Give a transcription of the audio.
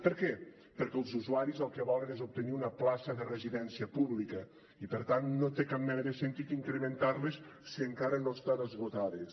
per què perquè els usuaris el que volen és obtenir una plaça de residència pública i per tant no té cap mena de sentit incrementar les si encara no estan esgotades